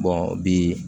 bi